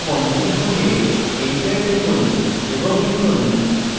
কোঁকড়া বন্ধনী খুলে enter টিপুন এবং লিখুন